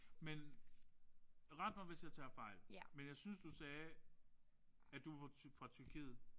Men ret mig hvis jeg tager fejl men jeg synes du sagde at du du var fra Tyrkiet